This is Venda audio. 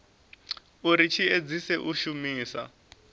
uri tshi edzise u shumisa